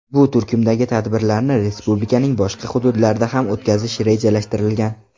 Bu turkumdagi tadbirlarni respublikaning boshqa hududlarida ham o‘tkazish rejalashtirilgan.